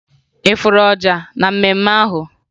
Ị fụrụ ọja na mmemme ahụ?